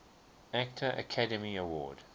actor academy award